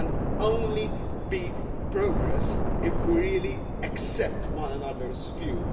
There can only be progress if we really accept one another's views.